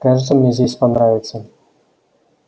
кажется мне здесь понравится